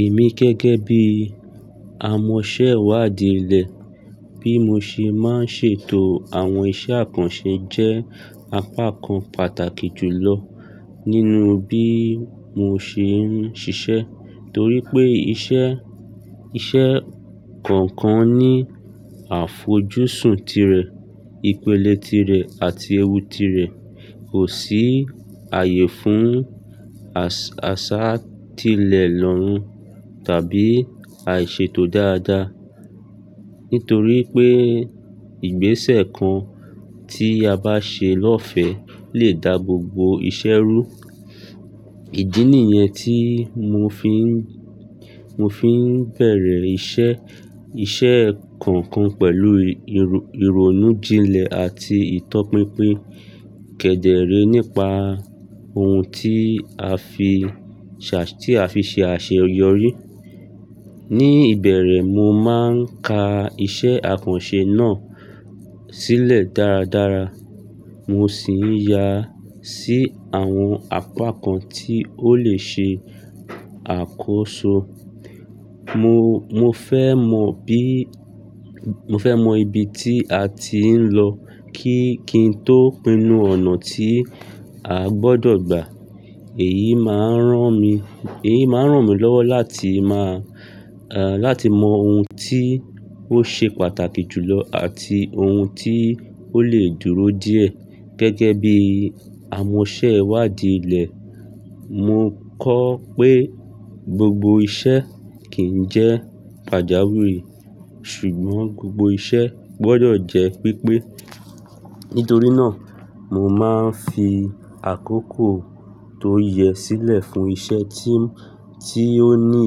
Èmi gẹ́gẹ́ bí amọ̀ṣẹ́wàdíìlẹ̀, bí mo ṣe máa ń ṣètò àwọn iṣẹ́ àkànṣe jẹ́ apá kan pàtàkì jùlọ nínú bí mo ṣe ń ṣiṣẹ́. Torí pé iṣẹ́, iṣẹ́ kọ̀ọ̀kan ní àfojúsùn tirẹ̀, ìpele tirẹ̀ àti ewú tirẹ̀. Kò sí ààyè fún àṣá tìlẹ̀ lọ́rùn tàbí àìṣètò dáadáa. Nítorí pé ìgbésẹ̀ kan tí a bá ṣe lọ́ọ̀fẹ́ lè dá gbogbo iṣẹ́ rú. Ìdí nìyẹn tí mo fi ń, mo fi ń bẹ̀rẹ̀ iṣẹ́, iṣẹ́ kọ̀ọ̀kan pẹ̀lú ìrònú jinlẹ̀ àti ìtọ́pinpin kẹ̀dẹ̀ ré nípa ohun tí a fi ṣà, tí a fi ṣe àṣeyọrí. Ni ìbẹ̀rẹ̀, mo máa ń ka iṣẹ́ àkànṣe náà sílẹ̀ dáradára, mo sì ń ya sí àwọn apá kan tí ó lè ṣe àkóso. Mo, mo fẹ́ mọ bí, mo fẹ́ mọ ibi tí a ti ń lọ kí-kí n tó pinnu ọ̀nà tí a gbọdọ̀ gba. Èyí máa ń rán mi, èyí máa ń rán mi lọ́wọ́ láti má a, láti mọ ohun tí ó ṣe pàtàkì jùlọ àti ohun tí ó lè dúró díẹ̀. Gẹ́gẹ́ bí amọ̀ṣẹ́wàdíìlẹ̀, mo kọ pé gbogbo iṣẹ́ kì ń jẹ́ pàjáwìrì ṣùgbọ́n gbogbo iṣẹ́ gbọdọ̀ jẹ́ pípé. Nítorí náà, mo máa ń fi àkókò tó yẹ sílẹ̀ fún iṣẹ́ tí, tí ó ní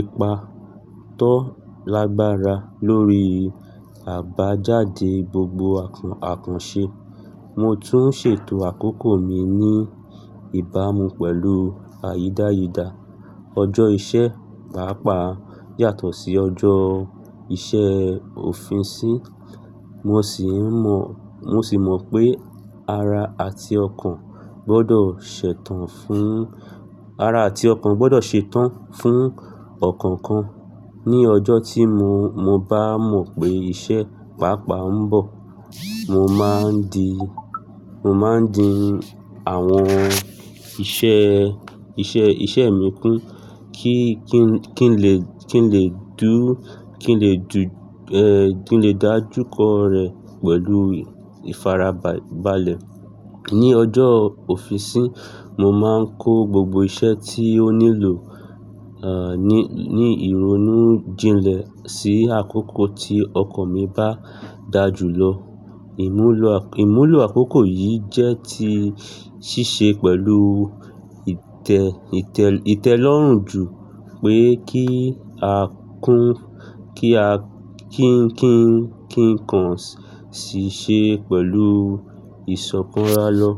ipa tó lágbára lórí àbájáde gbogbo àkàn, àkànṣe. Mo tún ṣètò àkókò mi ní ìbámu pẹ̀lú àyídáyidà. Ọjọ́ iṣẹ́ pàápàá yàtọ̀ sí ọjọ́ iṣẹ́ òfin sí. Mo sì ń mọ, mo sì mọ pé ara àti ọkàn gbọdọ̀ ṣetán fún, ara àti ọkàn gbọdọ̀ ṣetán fún ọ̀kọ̀ọ̀kan. Ni ọjọ́ tí mo, mo bá mọ̀ pé iṣẹ́ pàápàá ń bọ̀, mo máa ń di, mo máa ń di àwọn iṣẹ́, iṣẹ́, iṣẹ́ mi kún kí-kí ń lè, kí ń lè dú, kí ń lè dù, ẹ́, kí ń lè dájúkọ rẹ̀ pẹ̀lú ìfarabalẹ̀. Ni ọjọ́ òfin sí, mo máa ń kó gbogbo iṣẹ́ tí ó nílò, ẹ́, ní, ní ìrònú jinlẹ̀ sí àkókò tí ọkọ̀ mi bá dà jù lọ. Ìmúlò àkọ́, ìmúlò àkókò yìí jẹ́ ti ṣíṣe pẹ̀lú ìtẹ̀, ìtẹ̀, ìtẹ́lọ́rùn ju pé kí a kún, kí a kí ń, kí ń, kí ń kàn ṣíṣe pẹ̀lú ìsọkan rá lọ.